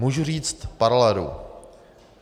Můžu říct paralelu.